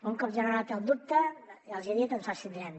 un cop generat el dubte ja els hi he dit ens abstindrem